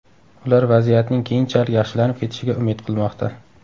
Ular vaziyatning keyinchalik yaxshilanib ketishiga umid qilmoqda.